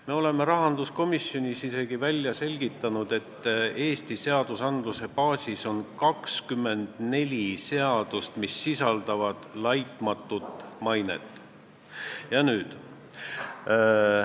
Me oleme rahanduskomisjonis isegi välja selgitanud, et Eesti õigusaktide baasis on 24 seadust, mis sisaldavad mõistet "laitmatu maine".